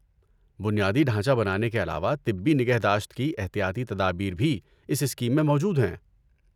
بنیادی ڈھانچہ بنانے کے علاوہ طبی نگہداشت کی احتیاطی تدابیر بھی اس اسکیم میں موجود ہیں۔